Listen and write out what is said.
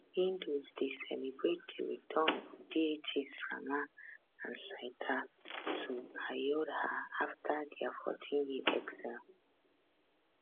hindus dey celebrate di return of deities rama and sita to ayodhya afta dia 14year exile